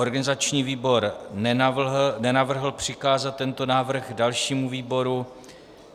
Organizační výbor nenavrhl přikázat tento návrh dalšímu výboru.